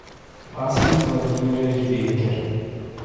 асмик владимирович беккер